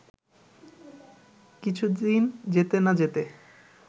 কিছুদিন যেতে না যেতে